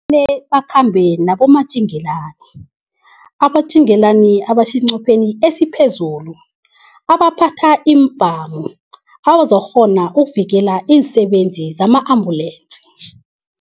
bakhambe nabomatjengelani, abomatjingelanini abaseqopheni esiphezulu abaphatha iimbhamu abazokukghona ukuvikela iinsebenzi zama-ambulance.